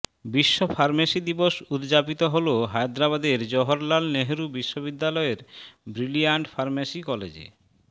বিশ্ব ফার্মেসি দিবস উদযাপিত হলো হায়দ্রাবাদের জওহরলাল নেহেরু বিশ্ববিদ্যালয়ের ব্রিলিয়ান্ট ফার্মেসি কলেজে